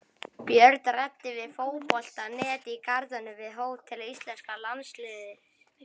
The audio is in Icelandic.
Björn ræddi við Fótbolta.net í garðinum við hótel íslenska landsliðsins.